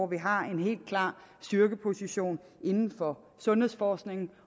vi har en helt klar styrkeposition inden for sundhedsforskningen